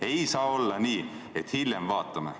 Ei saa olla nii, et hiljem vaatame.